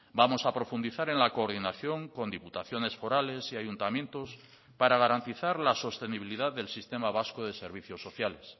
vamos a profundizar en la coordinación con diputaciones forales y ayuntamientos para garantizar la sostenibilidad del sistema vasco de servicios sociales